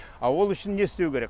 а ол үшін не істеу керек